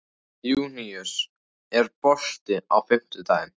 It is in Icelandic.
Júníus, er bolti á fimmtudaginn?